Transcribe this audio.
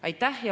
Aitäh!